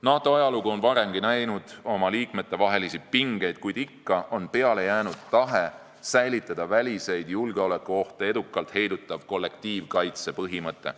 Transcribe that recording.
NATO ajalugu on varemgi näinud oma liikmete vahelisi pingeid, kuid ikka on peale jäänud tahe säilitada väliseid julgeolekuohte edukalt heidutav kollektiivkaitsepõhimõte.